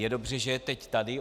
Je dobře, že je teď tady.